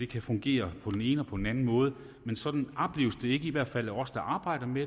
kan fungere på den ene og på den anden måde men sådan opleves det i hvert fald ikke af os der arbejder med